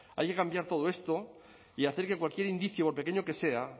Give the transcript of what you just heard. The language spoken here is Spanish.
hay que cambiar todo esto y hacer que cualquier indicio por pequeño que sea